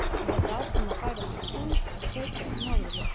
Ég held áfram að færa þér tungl og kveikja á norðurljósunum.